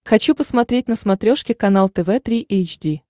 хочу посмотреть на смотрешке канал тв три эйч ди